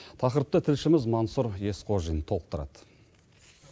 тақырыпты тілшіміз мансур есқожин толықтырады